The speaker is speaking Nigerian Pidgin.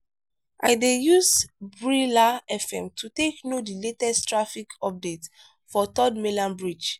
i dey use brila fm to take know di latest traffic updates for third mainland bridge.